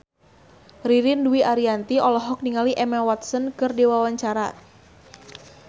Ririn Dwi Ariyanti olohok ningali Emma Watson keur diwawancara